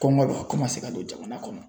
Kɔngɔ bɛ ka don jamana kɔnɔ.